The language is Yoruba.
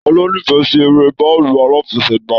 Taló n'ifẹ sí èrè bàálù alafẹ̀sẹ̀gba?